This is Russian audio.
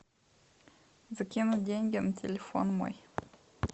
закинуть деньги на телефон мой